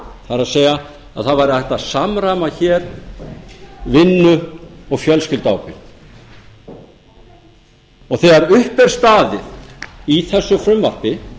það er það væri hægt að samræma hér vinnu og fjölskylduábyrgð þegar upp er staðið í þessu frumvarpi